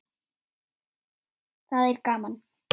Það er gaman.